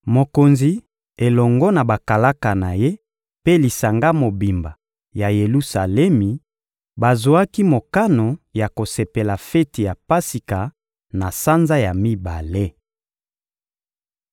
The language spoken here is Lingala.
Mokonzi elongo na bakalaka na ye mpe lisanga mobimba ya Yelusalemi bazwaki mokano ya kosepela feti ya Pasika na sanza ya mibale.